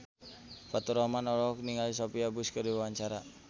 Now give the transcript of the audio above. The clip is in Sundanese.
Faturrahman olohok ningali Sophia Bush keur diwawancara